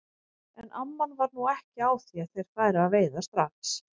En amman var nú ekki á því að þeir færu að veiða strax.